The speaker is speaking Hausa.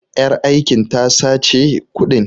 Ƴar aikin ta sace kuɗin.